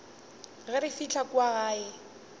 ge re fihla kua gae